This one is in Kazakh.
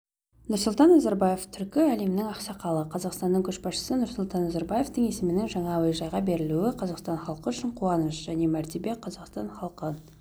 нұрсұлтан назарбаев түркі әлемінің ақсақалы қазақстанның көшбасшысы нұрсұлтан назарбаевтың есімінің жаңа әуежайға берілуі қазақстан халқы үшін қуаныш және мәртебе қазақстан халқын